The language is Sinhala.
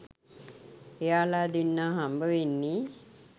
එයාල දෙන්නා හම්බවෙන්නේ